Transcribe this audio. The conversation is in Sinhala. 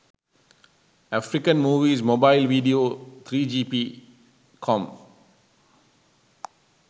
african movies mobile video 3gp com